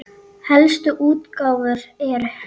Helstu útgáfur eru